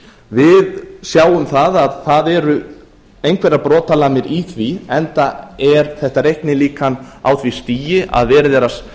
við sjáum að það eru einhverjar brotalamir í því enda er þetta reiknilíkan á því stigi að